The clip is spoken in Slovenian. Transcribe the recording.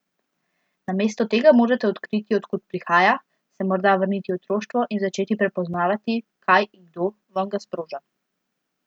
Namesto tega morate odkriti, od kod prihaja, se morda vrniti v otroštvo in začeti prepoznavati, kaj in kdo vam ga sproža.